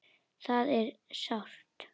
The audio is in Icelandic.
Það er sárt.